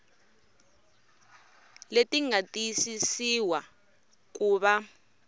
leti nga tiyisisiwa ku va